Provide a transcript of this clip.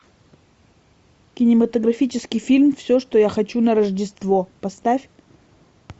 кинематографический фильм все что я хочу на рождество поставь